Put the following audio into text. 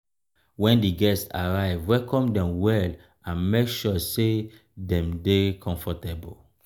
when di guests arrive welcome dem well and make sure sey dem dey comfortable